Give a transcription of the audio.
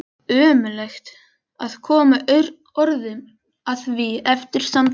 Ómögulegt að koma orðum að því eftir samtalið.